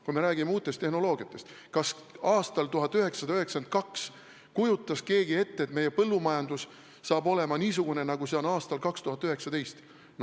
Kui me räägime uutest tehnoloogiatest, siis kas aastal 1992 kujutas keegi ette, et meie põllumajandus saab olema niisugune, nagu see on aastal 2019?